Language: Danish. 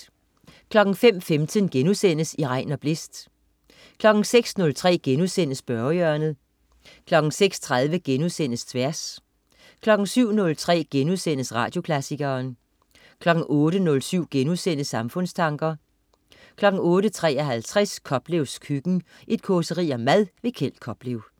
05.15 I regn og blæst* 06.03 Spørgehjørnet* 06.30 Tværs* 07.03 Radioklassikeren* 08.07 Samfundstanker* 08.53 Koplevs køkken. Et causeri om mad. Kjeld Koplev